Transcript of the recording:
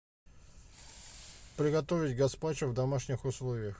приготовить гаспачо в домашних условиях